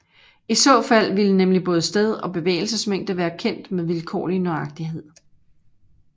I så fald ville nemlig både sted og bevægelsesmængde være kendt med vilkårlig nøjagtighed